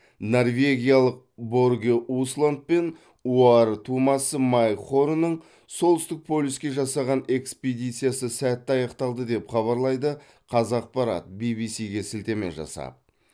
норвегиялық борге усланд пен оар тумасы майк хорнның солтүстік полюске жасаған экспедициясы сәтті аяқталды деп хабарлайды қазақпарат ввс ге сілтеме жасап